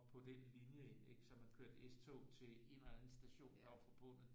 Den linje ind ikke så man kørte S-tog ind til en eller anden station der var forbundet